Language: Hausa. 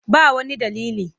Ba wani dalili.